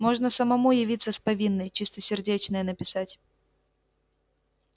можно самому явиться с повинной чистосердечное написать